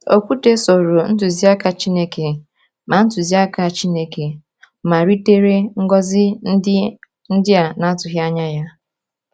Okwute soro ntụzịaka Chineke ma ntụzịaka Chineke ma ritere ngọzi ndị a na-atụghị anya ya.